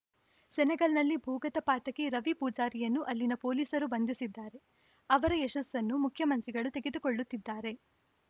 ಸೆನೆಗಲ್‌ನಲ್ಲಿ ಭೂಗತ ಪಾತಕಿ ರವಿ ಪೂಜಾರಿಯನ್ನು ಅಲ್ಲಿನ ಪೊಲೀಸರು ಬಂಧಿಸಿದ್ದಾರೆ ಅವರ ಯಶಸ್ಸನ್ನು ಮುಖ್ಯಮಂತ್ರಿಗಳು ತೆಗೆದುಕೊಳ್ಳುತ್ತಿದ್ದಾರೆ